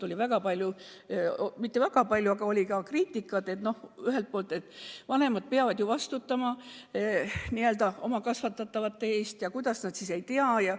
Oli ka kriitikat – mitte küll väga palju –, et ühelt poolt vanemad peavad ju vastutama oma n-ö kasvatatavate eest ja kuidas nad siis nende muresid ei tea.